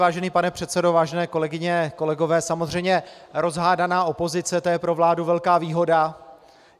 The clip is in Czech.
Vážený pane předsedo, vážené kolegyně, kolegové, samozřejmě rozhádaná opozice, to je pro vládu velká výhoda.